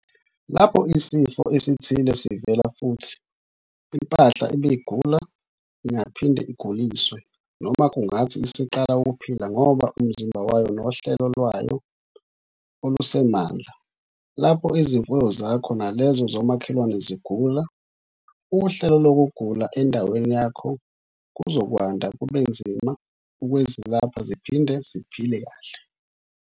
Lapho isifo esithile sivela futhi, impahla ebegula ingaphinda iguliswe - noma kungathi isiqala ukuphila ngoba umzimba wayo nohlelo lwayo alusenamandla. Lapho izimfuyo zakho nalezo zomakhelwane zigula, uhlelo lokugula endaweni yakho kuzokwanda kubenzima ukwezilapha ziphinde ziphile kahle.